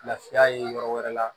Lafiya ye yɔrɔ wɛrɛ la